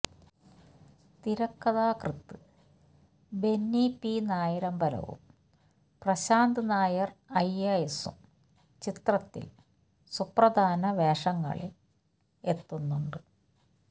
തിരക്കഥാകൃത്ത് ബെന്നി പി നായരമ്പലവും Prashanth Nair I A എസും ചിത്രത്തിൽ സുപ്രധാന വേഷങ്ങളിൾ എത്തുന്നുണ്ട്